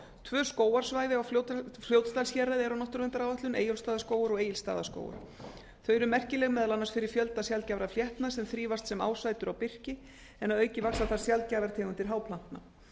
tvö skógarsvæði á fljótsdalshéraði eru á náttúruverndaráætlun eyjólfsstaðaskógur og egilsstaðaskógur þau eru merkileg meðal annars fyrir fjölda sjaldgæfra fléttna sem þrífast sem ásætur á birki en að auki vaxa þar sjaldgæfar tegundir háplantna